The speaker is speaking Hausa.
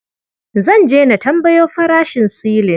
Zan je na tambayo farashin silin.